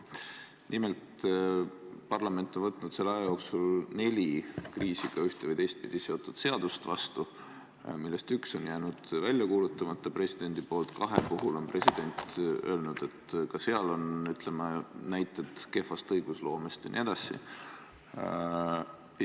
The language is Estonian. Nimelt, parlament on võtnud selle aja jooksul vastu neli kriisiga üht- või teistpidi seotud seadust, millest üks on jäänud välja kuulutamata presidendi poolt, kahe kohta on president öelnud, et ka seal on, ütleme, näiteid kehva õigusloome kohta jne.